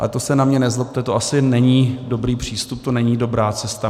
Ale to se na mě nezlobte, to asi není dobrý přístup, to není dobrá cesta.